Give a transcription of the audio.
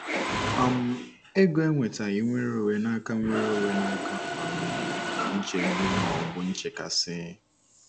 um Ego ewetaghi nweronwe n'aka nweronwe n'aka um nchegbu ma ọ bụ nchekasị. ”